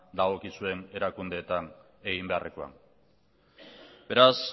dagokizuen erakundeetan egin beharrekoa beraz